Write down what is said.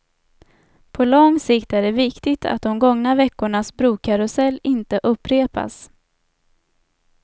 På lång sikt är det viktigt att de gångna veckornas brokarusell inte upprepas.